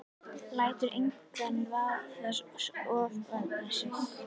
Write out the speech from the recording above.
Lætur engan vaða ofan í sig.